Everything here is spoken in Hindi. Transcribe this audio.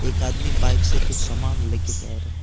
एक आदमी बाइक से कुछ समान लेके जा रहा है।